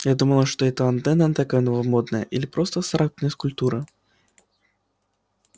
я думала что это или антенна такая новомодная или просто абстрактная скульптура